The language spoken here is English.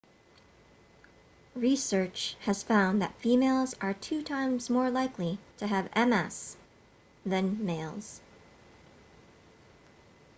research has found that females are two times more likely to have ms then males